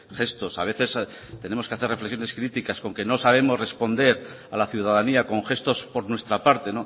gestos a veces tenemos que hacer reflexiones críticas con que no sabemos responder a la ciudadanía con gestos por nuestra parte